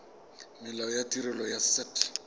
molao wa tirelo ya set